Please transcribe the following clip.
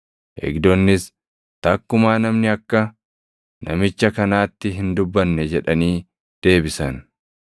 Eegdonnis, “Takkumaa namni akka namicha kanaatti hin dubbanne” jedhanii deebisan.